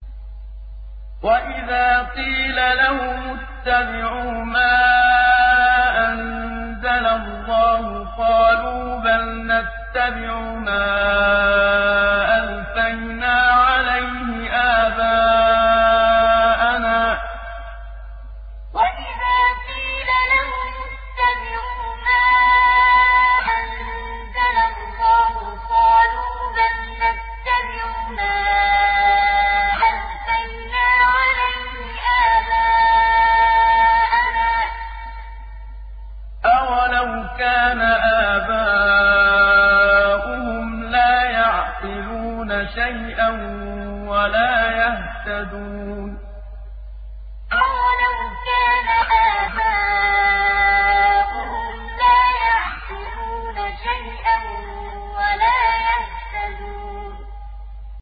وَإِذَا قِيلَ لَهُمُ اتَّبِعُوا مَا أَنزَلَ اللَّهُ قَالُوا بَلْ نَتَّبِعُ مَا أَلْفَيْنَا عَلَيْهِ آبَاءَنَا ۗ أَوَلَوْ كَانَ آبَاؤُهُمْ لَا يَعْقِلُونَ شَيْئًا وَلَا يَهْتَدُونَ وَإِذَا قِيلَ لَهُمُ اتَّبِعُوا مَا أَنزَلَ اللَّهُ قَالُوا بَلْ نَتَّبِعُ مَا أَلْفَيْنَا عَلَيْهِ آبَاءَنَا ۗ أَوَلَوْ كَانَ آبَاؤُهُمْ لَا يَعْقِلُونَ شَيْئًا وَلَا يَهْتَدُونَ